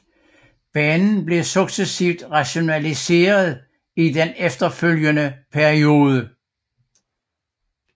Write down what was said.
Banen blev successivt rationaliseret i den efterfølgende periode